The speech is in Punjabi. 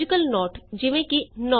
ਐਕਸਪ੍ਰੈਸ਼ਨ1 ।। expression2 logical note